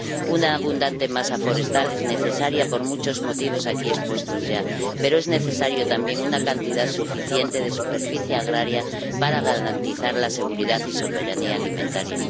Una abundante masa forestal es necesaria por muchos motivos aquí expuestos ya, pero es necesaria también una cantidad suficiente de superficie agraria para garantizar la seguridad y soberanía alimentaria.